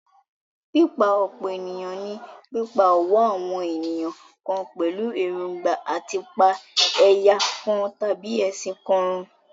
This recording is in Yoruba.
Pípa-ọ̀pọ̀-ènìyàn ní pípá ọ̀wọ́ àwọn ènìyàn kan pẹ̀lú èròńgbà à ti pa ẹ̀yà kan tàbí ẹ̀sìn kan run.